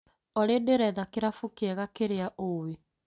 Olĩ ndĩretha kĩrabu kĩega kĩrĩa ũĩ'